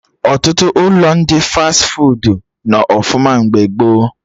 Ọtụtụ ụlọ ndị fas fuudu nọ ọfụma mgbe gboo